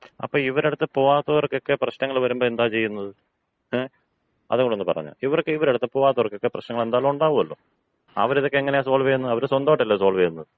അപ്പോ ഇവരടുത്ത് പോകാത്തവര്‍ക്കൊക്കെ പ്രശ്നങ്ങള് വരുമ്പോ എന്താ ചെയ്യുന്നത്? ങേ? അതുകൂടി ഒന്ന് പറഞ്ഞുതാ. ഇവരുടടുത്ത് പോവാത്തവർക്കൊക്കെ പ്രശ്നങ്ങള് എന്തായാലും ഉണ്ടാവുവല്ലോ. അവരിതക്കെ എങ്ങനെയാ സോൾവ് ചെയ്യുന്നത്? അവര് സ്വന്തായിട്ടല്ലേ സോൾവ് ചെയ്യുന്നത്.